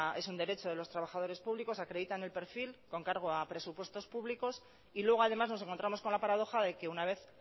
es un derecho de los trabajadores públicos acreditan el perfil con cargo a presupuestos públicos y luego además nos encontramos con la paradoja de que una vez